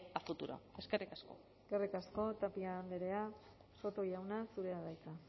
a futuro eskerrik asko eskerrik asko tapia andrea soto jauna zurea da hitza